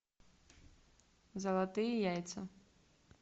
золотые яйца